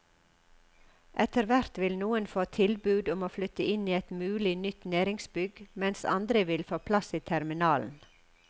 Etterhvert vil noen få tilbud om å flytte inn i et mulig nytt næringsbygg mens andre vil få plass i terminalen.